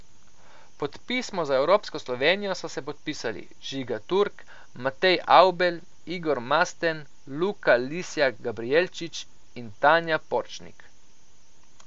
Pod pismo za evropsko Slovenijo so se podpisali Žiga Turk, Matej Avbelj, Igor Masten, Luka Lisjak Gabrijelčič in Tanja Porčnik.